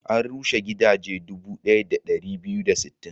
An rushe gidaje dubu ɗaya da ɗari biyu da sittin.